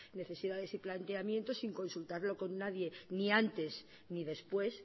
necesidades y planteamientos sin consultarlo con nadie ni antes ni después